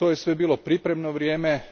To je sve bilo pripremno vrijeme